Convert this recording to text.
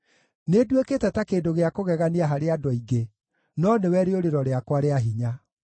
Nĩnduĩkĩte ta kĩndũ gĩa kũgegania harĩ andũ aingĩ, no nĩwe rĩũrĩro rĩakwa rĩa hinya.